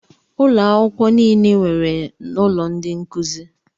Ụlọ akwụkwọ nile nwere ụlọ ndị nkụzi.